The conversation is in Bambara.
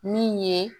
Min ye